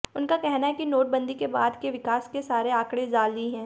उनका कहना है कि नोटबंदी के बाद के विकास के सारे आँकड़े जाली हैं